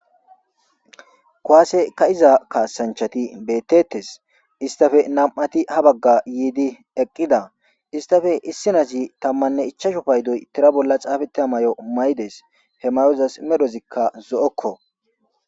kwaase ka iza kaasanchati bettettes istafe nam'ati ha bagga yiidi eqqida istafe issinazi tammanne ichasho paydoy tira bolla xaafete ha may7o maydes he mayozas medhozikka zo'okko.